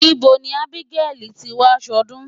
Ibo ni Ábígẹ́lì ti máa ṣọdún?